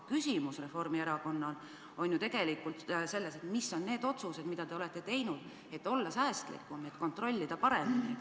Reformierakonna küsimus seisneb aga tegelikult ju selles, mis on need otsused, mida te olete teinud, et olla säästlikum ja kontrollida paremini.